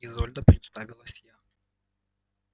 изольда представилась я